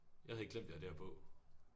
Jeg havde helt glemt vi har det her på